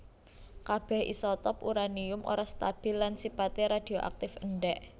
Kabèh isotop uranium ora stabil lan sipaté radioaktif endèk